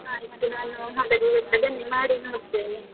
ಆಯ್ತು ನಾನು ಹಾಗಾದ್ರೆ ಇವತ್ತು ಅದನ್ನೇ ಮಾಡಿ ನೋಡ್ತೇನೆ.